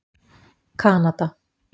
Kanada